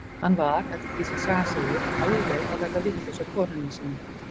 Hann var, eftir því sem sagan segir, alveg að verða vitlaus á konunni sinni.